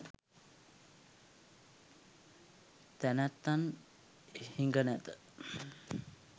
තැනැත්තන් හිඟ නැත.